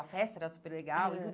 A festa era super legal e tudo.